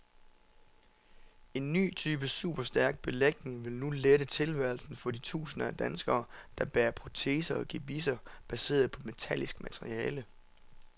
En ny type superstærk belægning vil nu lette tilværelsen for de tusinder af danskere, der bærer proteser og gebisser baseret på metallisk materiale.